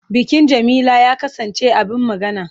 Bikin Jamila ya kasance abin magana.